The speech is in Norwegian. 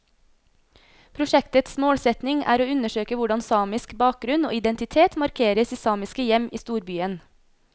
Prosjektets målsetning er å undersøke hvordan samisk bakgrunn og identitet markeres i samiske hjem i storbyen.